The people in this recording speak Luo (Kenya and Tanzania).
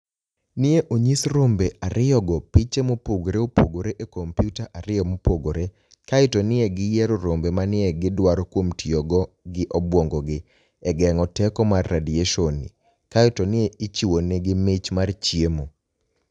ni e oniyis rombe ariyogo piche mopogore opogore e kompyuta ariyo mopogore; kae to ni e giyiero rombe ma ni e gidwaro kuom tiyo gi obwonigogi e genig'o teko mar radiationi, kae to ni e ichiwoni egi mich mar chiemo.